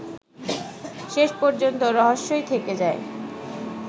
শেষ পর্যন্ত রহস্যই থেকে যায়